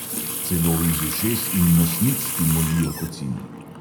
Celo iz ušes in nosnic ti molijo kocine.